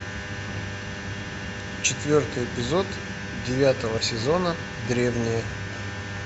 четвертый эпизод девятого сезона древние